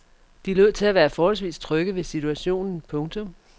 De lod til at være forholdsvis trygge ved situationen. punktum